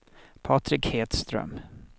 Patrik Hedström